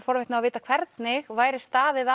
forvitin á að vita hvernig væri staðið